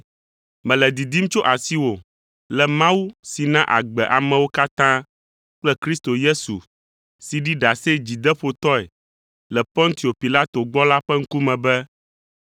Mele didim tso asiwò le Mawu si na agbe amewo katã kple Kristo Yesu si ɖi ɖase dzideƒotɔe le Pontio Pilato gbɔ la ƒe ŋkume be